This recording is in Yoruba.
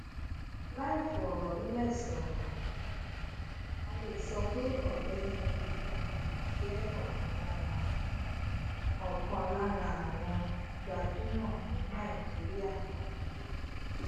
láìfọrọlẹsọrọ um a le sọ pe ọgbẹni emefiele je ọkan lára àwọn ọkan lára àwọn gbajumọ ní nàìjíríà lakoko yi